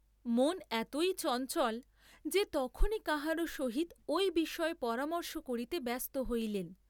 মন এতই চঞ্চল, যে তখনই কাহারও সহিত ঐ বিষয়ে পরামর্শ করিতে ব্যস্ত হইলেন।